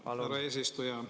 Jaa, härra eesistuja.